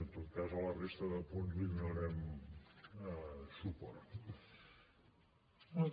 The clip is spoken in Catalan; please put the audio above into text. en tot cas a la resta de punts hi donarem suport